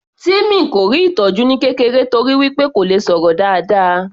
Timmy kò rí ìtọjú ní kékeré torí wí pé kò le sọ̀rọ̀ dáadáa